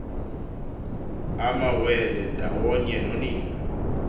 amawele ndawonye nonina